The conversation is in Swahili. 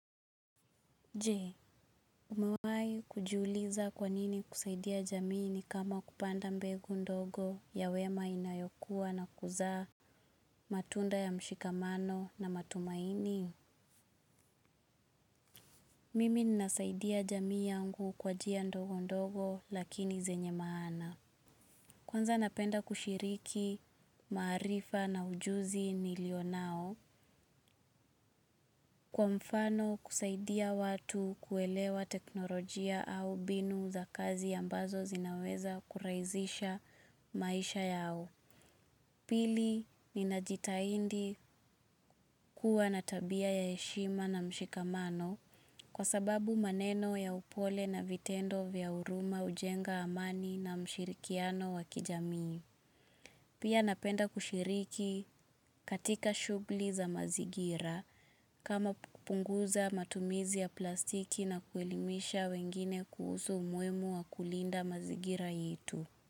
Jee, umewai kujiuliza kwanini kusaidia jamii ni kama kupanda mbegu ndogo ya wema inayokua na kuzaa matunda ya mshikamano na matumaini? Mimi nasaidia jamii yangu kwa njia ndogondogo lakini zenye maana. Kwanza napenda kushiriki maarifa na ujuzi nilio nao. Kwa mfano kusaidia watu kuelewa teknolojia au mbinu za kazi ambazo zinaweza kurahisisha maisha yao. Pili ni najitaihidi kuwa na tabia ya heshima na mshikamano kwa sababu maneno ya upole na vitendo vya huruma hujenga amani na mshirikiano wa kijamii. Pia napenda kushiriki katika shugli za mazigira kama kupunguza matumizi ya plastiki na kuelimisha wengine kuhusu umuhimu wa kulinda mazingira yetu.